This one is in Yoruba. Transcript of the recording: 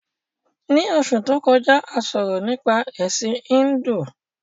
Ní Osù to kọjá, a sọ̀rọ̀ nípa Ẹ̀sin Híndù